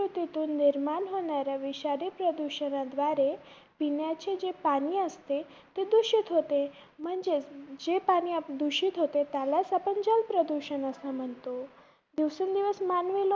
कृतीतून निर्माण होणाऱ्या विषारी प्रदुषणाद्वारे पिण्याचे जे पाणी असते, ते पाणी दुषित होते. म्हणजेच जे पाणी आप~ दुषित होते, त्यालाच आपण जलप्रदूषण म्हणतो, दिवसेंदिवस